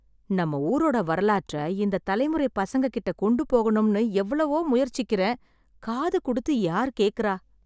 நம்ம ஊரோட வரலாற்றை இந்தத் தலைமுறைப் பசங்கட்ட கொண்டு போகணும்னு எவ்ளோ முயற்சிக்கிறேன், காது கொடுத்து யார் கேக்கறா?